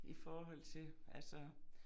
I forhold til altså